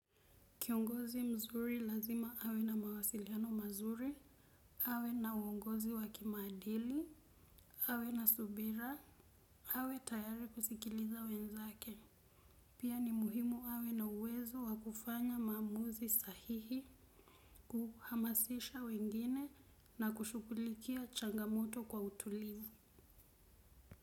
Kiongozi mzuri lazima awe na mawasiliano mazuri, awe na uongozi wakimaadili, awe na subira, awe tayari kusikiliza wenzake. Pia ni muhimu awe na uwezo wakufanya maamuzi sahihi kuhamasisha wengine na kushugulikia changamoto kwa utulivu.